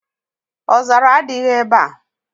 Ọzara adịghị ebe a.